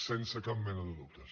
sense cap mena de dubtes